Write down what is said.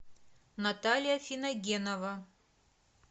наталья финогенова